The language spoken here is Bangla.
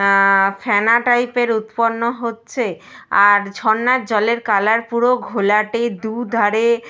অ্যা ফ্যানা টাইপ -এর উৎপন্ন হচ্ছে। আর ঝর্ণার জলের কালার পুরো ঘোলাটে। দু-ধারে --